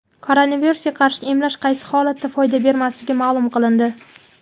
Koronavirusga qarshi emlash qaysi holatda foyda bermasligi ma’lum qilindi.